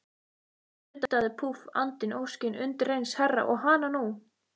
Nuddaðu, púff, andinn, óskin, undireins herra, og hananú!